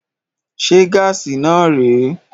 Se gaasi náà rè é?